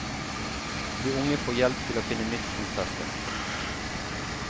De unge får hjelp til å finne nytt fotfeste.